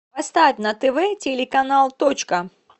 поставь на тв телеканал точка